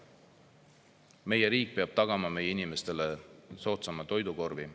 Meie riik peab tagama meie inimestele soodsama toidukorvi.